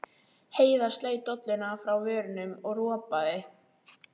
Heiða sleit dolluna frá vörunum og ropaði.